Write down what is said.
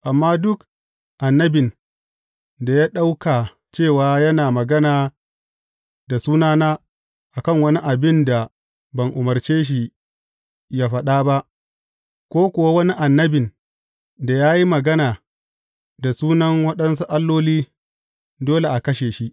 Amma duk annabin da ya ɗauka cewa yana magana da sunana a kan wani abin da ban umarce shi ya faɗa ba, ko kuwa wani annabin da ya yi magana da sunan waɗansu alloli, dole a kashe shi.